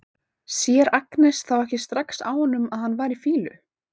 Sér Agnes þá ekki strax á honum að hann var í fýlu?